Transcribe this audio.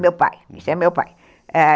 Meu pai, isso é meu pai.